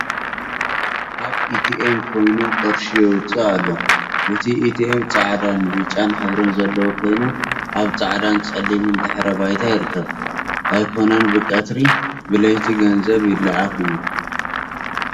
ኣብ ኤትኤም ኮይኑ ቅርሺ የውፅእ ኣሎ። እቲ ኤትኤም ፃዕዳ ን ብጫን ሕብሪ ዘለዎ ኮይኑ ኣብ ፃዕዳን ፀሊምን ድሕረ ባይታ ይርከብ። ኣይኮነን ብ ቀትሪ ብ ለይቲ ገንዘብ ይለኣክ እዩ።